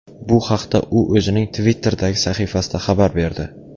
Bu haqda u o‘zining Twitter’dagi sahifasida xabar berdi .